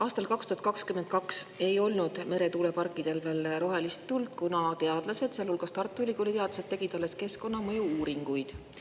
Aastal 2022 ei olnud meretuuleparkidel veel rohelist tuld, kuna teadlased, sealhulgas Tartu Ülikooli teadlased, tegid alles keskkonnamõju-uuringuid.